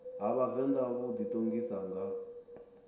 ha vhavenḓa vhu ḓiṱongisa nga